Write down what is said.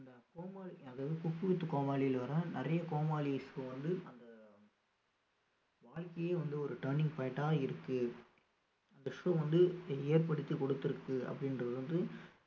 அதாவது cook with கோமாளில வர நிறைய கோமாளி வாழ்க்கையே வந்து ஒரு turning point ஆ இருக்கு அந்த show வந்து ஏ~ ஏற்படுத்தி கொடுத்திருக்கு அப்படின்றது வந்து